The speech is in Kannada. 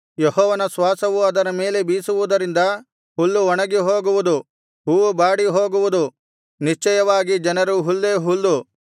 ಯೆಹೋವನ ಶ್ವಾಸವು ಅದರ ಮೇಲೆ ಬೀಸುವುದರಿಂದ ಹುಲ್ಲು ಒಣಗಿ ಹೋಗುವುದು ಹೂವು ಬಾಡಿ ಹೋಗುವುದು ನಿಶ್ಚಯವಾಗಿ ಜನರು ಹುಲ್ಲೇ ಹುಲ್ಲು